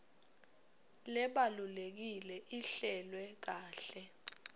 lebalulekile ihlelwe kahle